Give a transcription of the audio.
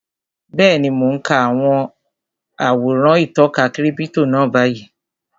Bẹ́ẹ̀ni, mo n ka àwòrán ìtọka kírípítò náà báyìí